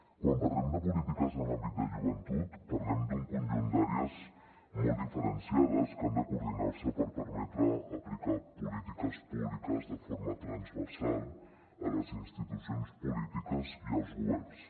quan parlem de polítiques en l’àmbit de joventut parlem d’un conjunt d’àrees molt diferenciades que han de coordinar se per permetre aplicar polítiques públiques de forma transversal a les institucions polítiques i als governs